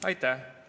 Aitäh!